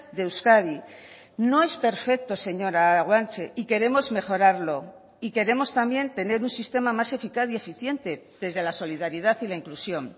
de euskadi no es perfecto señora guanche y queremos mejorarlo y queremos también tener un sistema más eficaz y eficiente desde la solidaridad y la inclusión